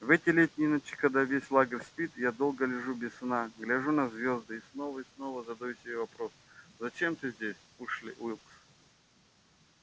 в эти летние ночи когда весь лагерь спит я долго лежу без сна гляжу на звезды и снова и снова задаю себе вопрос зачем ты здесь эшли уилкс